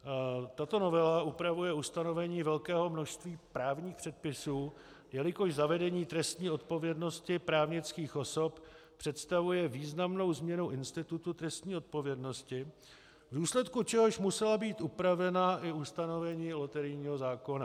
Tato novela upravuje ustanovení velkého množství právních předpisů, jelikož zavedení trestní odpovědnosti právnických osob představuje významnou změnu institutu trestní odpovědnosti, v důsledku čehož musela být upravena i ustanovení loterijního zákona.